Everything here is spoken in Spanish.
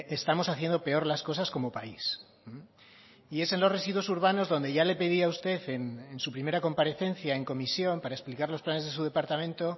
estamos haciendo peor las cosas como país y es en los residuos urbanos donde ya le pedí a usted en su primera comparecencia en comisión para explicar los planes de su departamento